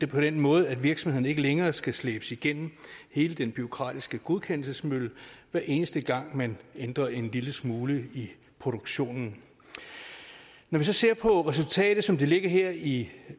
på den måde at virksomhederne ikke længere skal slæbes igennem hele den bureaukratiske godkendelsesmølle hver eneste gang man ændrer en lille smule i produktionen når vi så ser på resultatet som det ligger her i